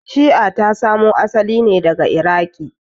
Shi'a ta samo asali ne daga Iraqi.